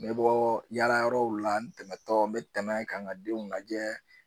N bɛ bɔ yala yɔrɔw la n tɛmɛna tɔ n bɛ tɛmɛ ka n ka denw lajɛ